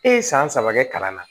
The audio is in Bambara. E ye san saba kɛ kalan na